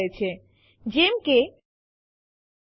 આવું થતું અટકાવવા માટે આપણી પાસે b વિકલ્પ છે